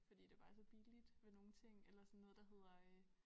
Fordi det bare er så billigt med nogle ting eller sådan noget der hedder øh